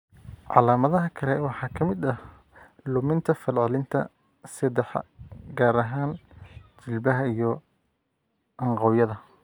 Calaamadaha kale waxaa ka mid ah luminta falcelinta seedaha, gaar ahaan jilbaha iyo anqawyada.